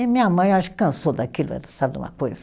E minha mãe, acho que cansou daquilo, sabe de uma coisa?